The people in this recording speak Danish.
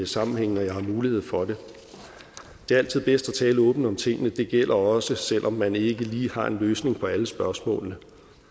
sammenhænge når jeg har mulighed for det det er altid bedst at tale åbent om tingene det gælder også selv om man ikke lige har en løsning på alle spørgsmålene